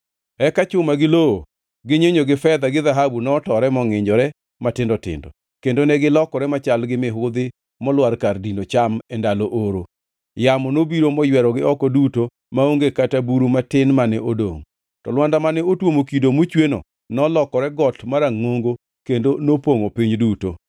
Eka chuma gi lowo, gi nyinyo, gi fedha gi dhahabu notore mongʼinjore matindo tindo, kendo negilokore machal gi mihudhi molwar kar dino cham e ndalo oro. Yamo nobiro moywerogi oko duto, maonge kata buru matin mane odongʼ. To Lwanda mane otuomo kido mochweno nolokore got marangʼongo kendo nopongʼo piny duto.